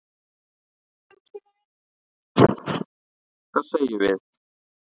Hvað segjum við?